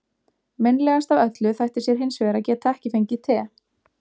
Meinlegast af öllu þætti sér hins vegar að geta ekki fengið te.